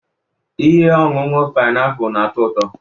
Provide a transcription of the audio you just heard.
ihe ọṅụṅụ painiapulu na-atọ ụtọ?